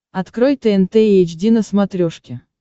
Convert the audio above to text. открой тнт эйч ди на смотрешке